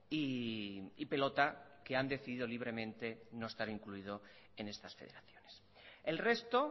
y pelota que han decidido libremente no estar incluido en estas federaciones el resto